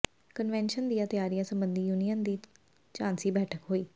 convention ਦੀਆਂ ਤਿਆਰੀਆਂ ਸਬੰਧੀ ਯੂਨੀਅਨ ਦੀ ਸਾਂਝੀ ਬੈਠਕ ਹੋਈ